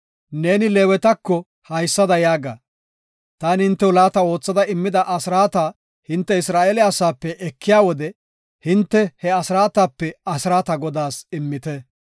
“Neeni Leewetako haysada yaaga; taani hintew laata oothada immida asraata hinte Isra7eele asaape ekiya wode hinte he asraatape asraata Godaas immite.